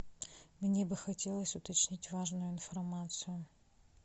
мне бы хотелось уточнить важную информацию